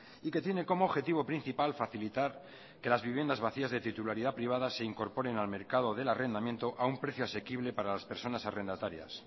y que tiene como objetivo principal facilitar que las viviendas vacías de titularidad privada se incorporen al mercado del arrendamiento a un precio asequible para las personas arrendatarias